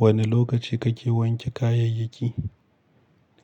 Wanne lokaci kake wanke kayayyaki?